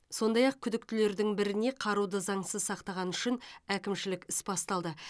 сондай ақ күдіктілердің біріне қаруды заңсыз сақтағаны үшін әкімшілік іс басталды